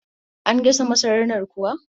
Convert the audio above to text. An gasa masarar nan kuwa?